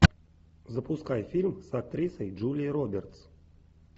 запускай фильм с актрисой джулия робертс